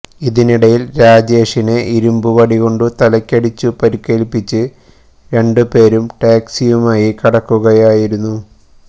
ഇതിനിടയിൽ രാജേഷിനെ ഇരുമ്പു വടികൊണ്ടു തലക്കടിച്ചു പരുക്കേൽപ്പിച്ച് രണ്ടും പേരും ടാക്സിയുമായി കടക്കുകയായിരുന്നു